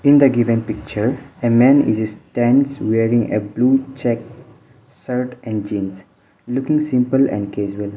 in the given picture a man is stands wearing a blue checked shirt and jeans looking simple and casual.